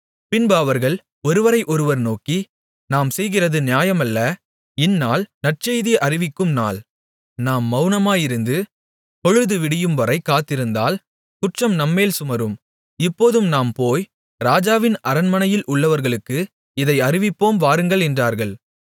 பின்பு அவர்கள் ஒருவரை ஒருவர் நோக்கி நாம் செய்கிறது நியாயமல்ல இந்நாள் நற்செய்தி அறிவிக்கும் நாள் நாம் மவுனமாயிருந்து பொழுது விடியும்வரை காத்திருந்தால் குற்றம் நம்மேல் சுமரும் இப்போதும் நாம் போய் ராஜாவின் அரண்மனையில் உள்ளவர்களுக்கு இதை அறிவிப்போம் வாருங்கள் என்றார்கள்